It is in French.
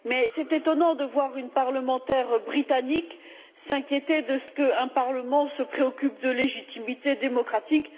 C'est étonnant de voir une parlementaire britannique s'inquiéter de ce qu'un Parlement se préoccupe de légitimité démocratique.